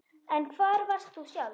En hvar varst þú sjálf